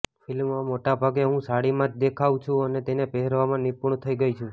ફિલ્મમાં મોટાભાગે હું સાડીમાં જ દેખાઉ છું અને તેને પહેરવામાં નિપુણ થઈ ગઈ છું